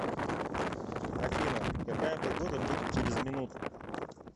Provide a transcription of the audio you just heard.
афина какая погода будет через минуту